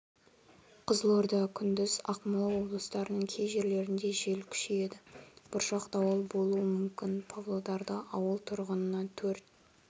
қызылорда күндіз ақмола облыстарының кей жерлерінде жел күшейеді бұршақ дауыл болуы мүмкін павлодарда ауыл тұрғынына төрт